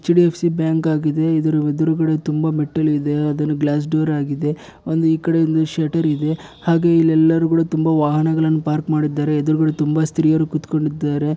HDFC bank ಆಗಿದೆ ಇದರ ಎದುರುಗಡೆ ತುಂಬಾ ಮೆಟ್ಟಲು ಇದೆ ಅದುನು ಗ್ಲಾಸ್ ಡೋರ್ ಆಗಿದೆ ಒಂದು ಈ ಕಡೆ ಇಂದ ಶೆಟ್ಟರ್ ಇದೆ ಹಾಗೆ ಇಲ್ಲಿ ಎಲ್ಲಾರು ಕೂಡ ತುಂಬಾ ವಾಹನಗಳನ್ನು ಪಾರ್ಕ್ ಮಾಡಿದ್ದಾರೆ ಎದುರುಗಡೆ ತುಂಬಾ ಸ್ತ್ರೀಯರು ಕುತ್ಕೊಂಡಿದ್ದಾರೆ